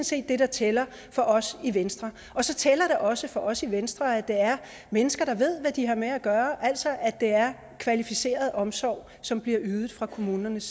set det der tæller for os i venstre så tæller det også for os i venstre at det er mennesker der ved hvad de har med at gøre altså at det er kvalificeret omsorg som bliver ydet fra kommunernes